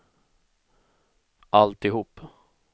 alltihop